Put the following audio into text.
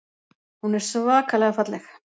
Hún er svakalega falleg.